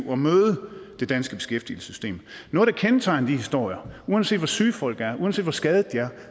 at møde det danske beskæftigelsessystem noget der kendetegner de historier er uanset hvor syge folk er uanset hvor skadede de er